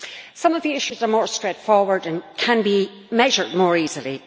Some of the issues are more straightforward and can be measured more easily.